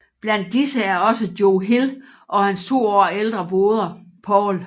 Blandt disse er også Joe Hill og hans to år ældre broder Paul